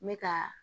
N bɛ ka